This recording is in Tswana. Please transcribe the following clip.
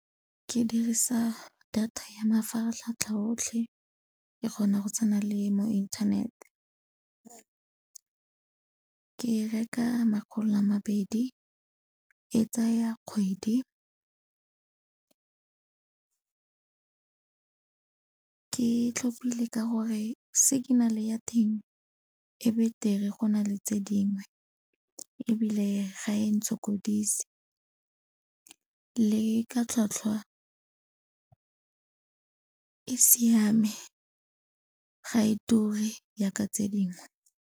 Ke dirisa data ya mafaratlhatlha otlhe, ke kgona go tsena le mo inthanete. Ke reka makgolo a mabedi, e tsaya kgwedi. Ke tlhopile ka gore signal-e ya teng e betere go na le tse dingwe ebile ga e ntshokodise le ka tlhwatlhwa e siame ga e ture jaaka tse dingwe.